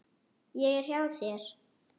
Ég er hjá þér.